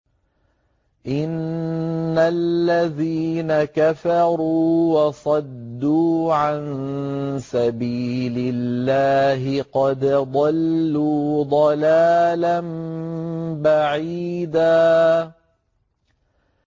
إِنَّ الَّذِينَ كَفَرُوا وَصَدُّوا عَن سَبِيلِ اللَّهِ قَدْ ضَلُّوا ضَلَالًا بَعِيدًا